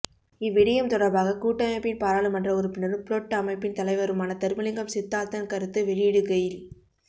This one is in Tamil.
இவ்விடயம் தொடர்பாக கூட்டமைப்பின் பாரர்ளுமன்ற உறுப்பினரும் புளொட் அமைப்பின் தலைவருமான தர்மலிங்கம் சித்தார்த்தன் கருத்து வெளியிடுகையில்